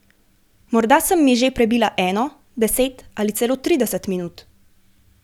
Morda sem miže prebila eno, deset ali celo trideset minut.